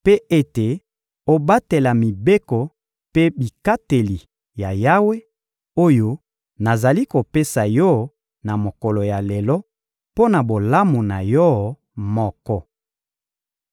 mpe ete obatela mibeko mpe bikateli ya Yawe, oyo nazali kopesa yo na mokolo ya lelo mpo na bolamu na yo moko.